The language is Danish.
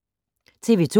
TV 2